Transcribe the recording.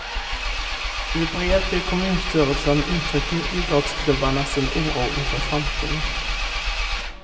I brev till kommunstyrelsen uttrycker idrottsklubbarna sin oro inför framtiden.